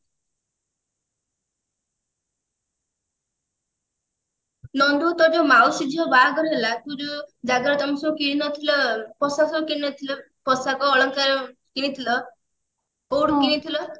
ନନ୍ଦୁ ତୋର ଯୋଉ ମାଉସୀ ଝିଅ ବାହାଘର ହେଲା ତୁ ଯୋଉ ଜାଗାରୁ ତମେ ସବୁ କିଣିନଥିଲ ପୋଷାକ ସବୁ କିଣିନଥିଲ ପୋଷାକ ଅଳଙ୍କାର କିଣିଥିଲ କୋଉଠୁ କିଣିଥିଲ